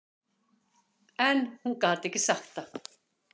En hún gat ekki sagt það.